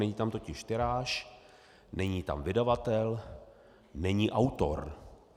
Není tam totiž tiráž, není tam vydavatel, není autor.